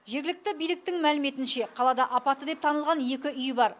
жергілікті биліктің мәліметінше қалада апатты деп танылған екі үй бар